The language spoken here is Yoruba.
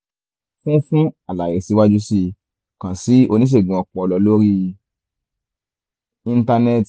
fún fún àlàyé síwájú sí i kàn sí oníṣègùn ọpọlọ lórí íńtánẹ́ẹ̀tì